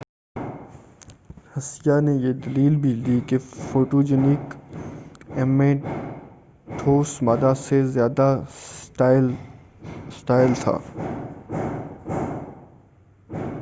ہسیہ نے یہ دلیل بھی دی کہ فوٹوجنک ایم اے ٹھوس مادہ سے زیادہ اسٹائل تھا